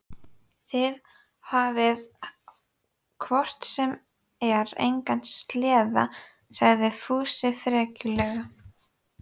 Þið hafið hvort sem er engan sleða, kallaði Fúsi frekjulega.